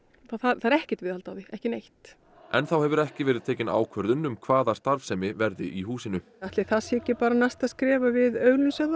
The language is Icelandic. það er ekkert viðhald á því ekki neitt enn þá hefur ekki verið tekin ákvörðun um hvaða starfsemi verði í húsinu ætli það sé ekki bara næsta skref að við auglýsum það